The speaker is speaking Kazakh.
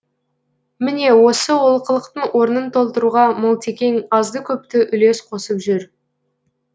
міне осы олқылықтың орнын толтыруға мылтекең азды көпті үлес қосып жүр